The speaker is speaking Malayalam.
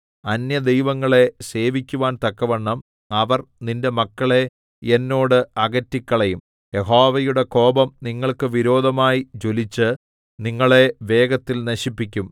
അന്യദൈവങ്ങളെ സേവിക്കുവാൻ തക്കവണ്ണം അവർ നിന്റെ മക്കളെ എന്നോട് അകറ്റിക്കളയും യഹോവയുടെ കോപം നിങ്ങൾക്ക് വിരോധമായി ജ്വലിച്ച് നിങ്ങളെ വേഗത്തിൽ നശിപ്പിക്കും